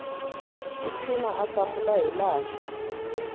tiphina a hlamula hilaha swi